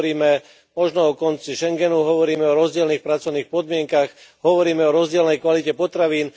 Hovoríme možno o konci Schengenu, hovoríme o rozdielnych pracovných podmienkach, hovoríme o rozdielnej kvalite potravín.